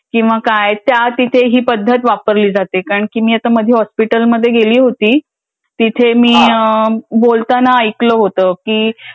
किंवा काय त्या तिथे ही पद्धत वापरली जाते. कारण की मी आता मागे हॉस्पिटलमध्ये गेली होती. तिथे मी बोलताना ऐकलं होतं की